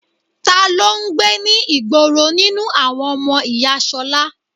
Ta ló ń gbé ní ìgboro nínú àwọn ọmọ ìyá ṣolá?